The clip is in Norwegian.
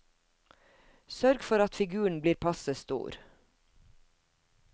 Sørg for at figuren blir passe stor.